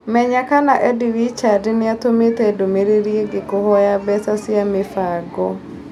Menya kana Eddie Richards nĩ atũmĩte ndũmĩrĩri ĩgiĩ kũhooya mbeca cia mĩbango